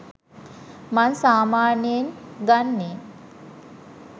මං සාමාන්‍යයෙන් ගන්නෙ